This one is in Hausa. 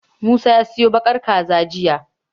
Musa ya siyo baƙar jaka jiya.